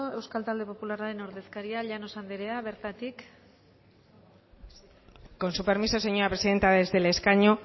euskal talde popularraren ordezkaria llanos anderez bertatik con su permiso señora presidenta desde el escaño